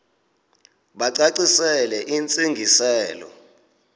bacacisele intsi ngiselo